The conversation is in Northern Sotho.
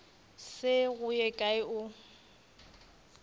se go ye kae o